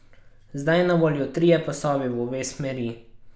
Zdaj na voljo trije pasovi v obe smeri.